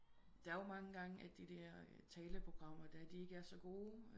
Der er jo mange gange de der taleprogrammer der de ikke er så gode